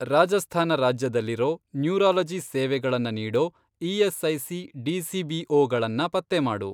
ರಾಜಸ್ಥಾನ ರಾಜ್ಯದಲ್ಲಿರೋ, ನ್ಯೂರಾಲಜಿ ಸೇವೆಗಳನ್ನ ನೀಡೋ ಇ.ಎಸ್.ಐ.ಸಿ. ಡಿ.ಸಿ.ಬಿ.ಓ. ಗಳನ್ನ ಪತ್ತೆ ಮಾಡು.